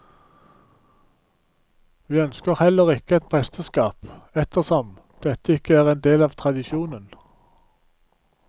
Vi ønsker heller ikke et presteskap, ettersom dette ikke er en del av tradisjonen.